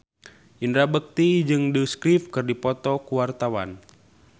Indra Bekti jeung The Script keur dipoto ku wartawan